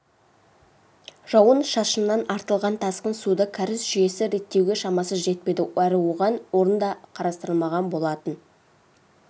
жауын-шашыннан артылған тасқын суды кәріз жүйесі реттеуге шамасы жетпеді әрі оған орын да қарастырылмаған болатын